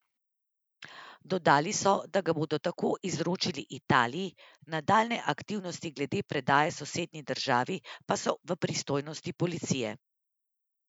Dodali so, da ga bodo tako izročili Italiji, nadaljnje aktivnosti glede predaje sosednji državi pa so v pristojnosti policije.